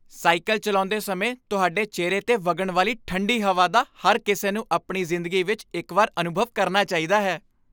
Cycle ਚਲਾਉਂਦੇ ਸਮੇਂ ਤੁਹਾਡੇ ਚਿਹਰੇ 'ਤੇ ਵਗਣ ਵਾਲੀ ਠੰਡੀ ਹਵਾ ਦਾ ਹਰ ਕਿਸੇ ਨੂੰ ਆਪਣੀ ਜ਼ਿੰਦਗੀ ਵਿਚ ਇਕ ਵਾਰ ਅਨੁਭਵ ਕਰਨਾ ਚਾਹੀਦਾ ਹੈ।